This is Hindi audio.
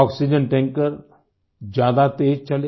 आक्सीजेन टैंकर ज़्यादा तेज़ चले